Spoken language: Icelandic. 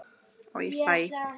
Og ég hlæ.